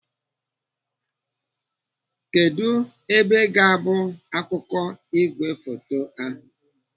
Kedụ ebe ga-abụ akụkụ igwefoto ahụ?